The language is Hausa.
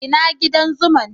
Ina gidan zuman'?